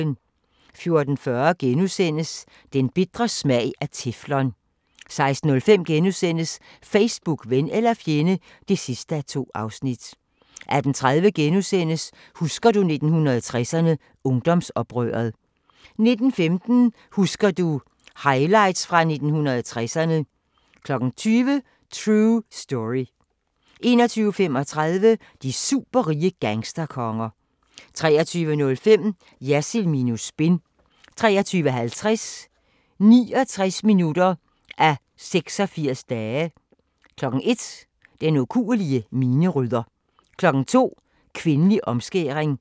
14:40: Den bitre smag af teflon * 16:05: Facebook – ven eller fjende (2:2)* 18:30: Husker du 1960'erne – Ungdomsoprøret * 19:15: Husker du – Highlights fra 1960'erne 20:00: True Story 21:35: De superrige gangsterkonger 23:05: Jersild minus spin 23:50: 69 minutter af 86 dage 01:00: Den ukuelige minerydder 02:00: Kvindelig omskæring